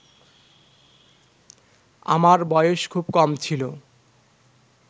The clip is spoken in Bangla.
আমার বয়স খুব কম ছিল